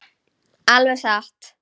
Alveg satt!